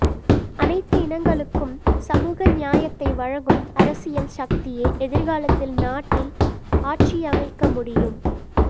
அனைத்து இனங்களுக்கும் சமூக நியாயத்தை வழங்கும் அரசியல் சக்தியே எதிர்காலத்தில் நாட்டில் ஆட்சியமைக்க முடியும்